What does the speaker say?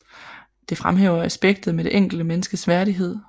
Det fremhæver aspektet med det enkelte menneskes værdighed